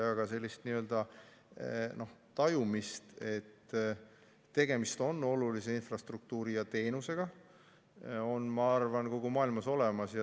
Aga sellist n-ö tajumist, et tegemist on olulise infrastruktuuri ja teenusega, on, ma arvan, kogu maailmas.